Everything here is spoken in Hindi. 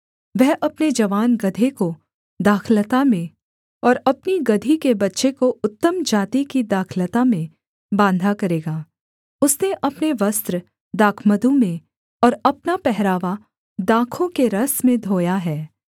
वह अपने जवान गदहे को दाखलता में और अपनी गदही के बच्चे को उत्तम जाति की दाखलता में बाँधा करेगा उसने अपने वस्त्र दाखमधु में और अपना पहरावा दाखों के रस में धोया है